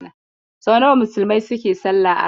Sau nawa Musulmai suke salla a rana.